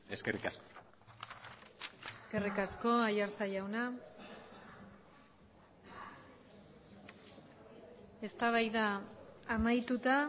eskerrik asko eskerrik asko aiartza jauna eztabaida amaituta